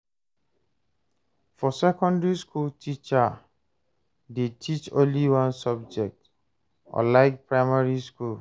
For secondary school teacher dey teach only one subject unlike primary school